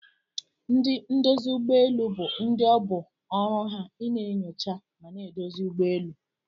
Ndi ndozi ugbọ elụ bu ndi oburu ina nyocha mana edozi ụgbọelụ.